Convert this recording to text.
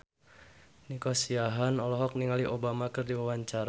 Nico Siahaan olohok ningali Obama keur diwawancara